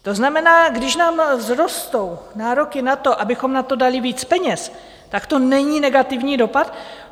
To znamená, když nám vzrostou nároky na to, abychom na to dali víc peněz, tak to není negativní dopad?